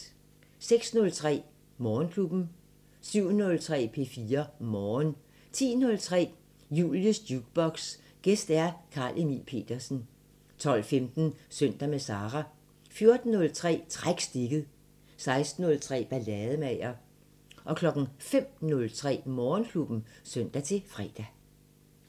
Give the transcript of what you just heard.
06:03: Morgenklubben 07:03: P4 Morgen 10:03: Julies Jukebox: Gæst Carl Emil Petersen 12:15: Søndag med Sara 14:03: Træk stikket 16:03: Ballademager 05:03: Morgenklubben (søn-fre)